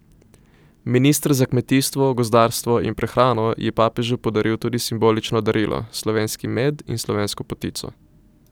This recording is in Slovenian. Minister za kmetijstvo, gozdarstvo in prehrano je papežu podaril tudi simbolično darilo, slovenski med in slovensko potico.